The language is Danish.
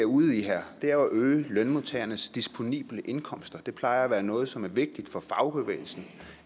ude i her er at øge lønmodtagernes disponible indkomst og det plejer at være noget som er vigtigt for fagbevægelsen